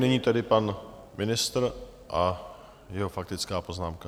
Nyní tedy pan ministr a jeho faktická poznámka.